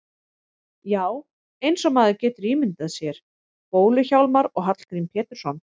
Já, eins og maður getur ímyndað sér Bólu-Hjálmar og Hallgrím Pétursson.